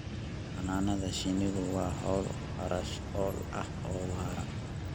Xannaanada shinnidu waa hawl kharash-ool ah oo waara.